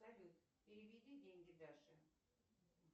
салют переведи деньги даше